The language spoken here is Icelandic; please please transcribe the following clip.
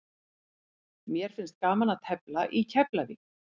Mér finnst gaman að tefla í Keflavík.